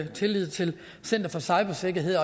tillid til at center for cybersikkerhed